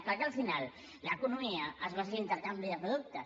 perquè al final l’economia es basa en l’intercanvi de productes